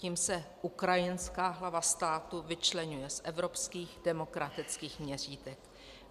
Tím se ukrajinská hlava státu vyčleňuje z evropských demokratických měřítek.